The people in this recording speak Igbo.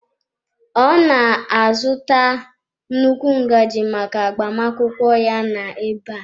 Ọ na-azụta nnukwu ngaji maka agbamakwụkwọ ya na-abịa.